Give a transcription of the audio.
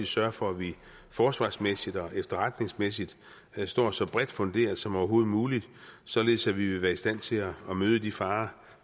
sørge for at vi forsvarsmæssigt og efterretningsmæssigt står så bredt funderet som overhovedet muligt således at vi vil være i stand til at møde de farer